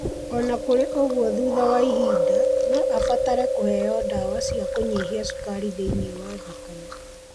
O na kũrĩ ũguo, thutha wa ihinda, no abatare kũheo ndawa cia kũnyihia cukari thĩinĩ wa thakame.